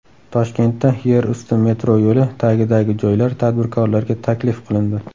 Toshkentda yerusti metro yo‘li tagidagi joylar tadbirkorlarga taklif qilindi .